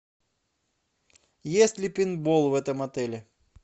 есть ли пейнтбол в этом отеле